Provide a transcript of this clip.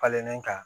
Falenlen kan